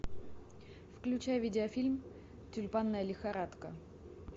включай видеофильм тюльпанная лихорадка